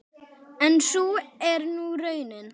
En sú er nú raunin.